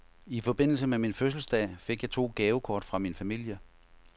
I forbindelse med min fødselsdag fik jeg to gavekort fra min familie.